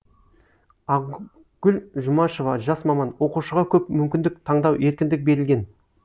ақгүл жұмашева жас маман оқушыға көп мүмкіндік таңдау еркіндік берілген